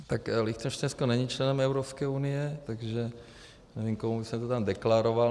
Tak Lichtenštejnsko není členem Evropské unie, takže nevím, komu bych to tam deklaroval.